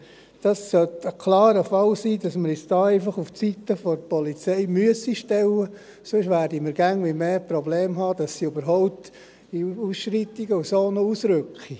Ich glaube, es sollte ein klarer Fall sein, dass wir uns hier einfach auf die Seite der Polizei stellen müssen, sonst werden wir immer mehr Probleme haben, dass sie bei Ausschreitungen und so überhaupt noch ausrücken.